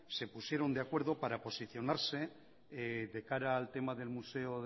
se pusieron de acuerdo para posicionarse de cara al tema del museo